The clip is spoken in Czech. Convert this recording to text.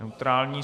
Neutrální.